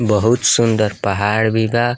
बहुत सुन्दर पहाड़ भी बा।